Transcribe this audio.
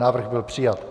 Návrh byl přijat.